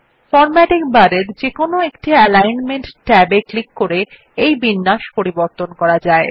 formatting বারের কোনো একটি অ্যালিগ্নমেন্ট ট্যাব এ ক্লিক করে এই বিন্যাস পরিবর্তন করা যায়